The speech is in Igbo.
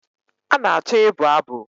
A na-achọ ịbụ abụ